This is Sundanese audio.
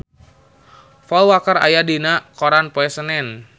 Paul Walker aya dina koran poe Senen